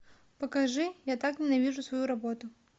покажи я так ненавижу свою работу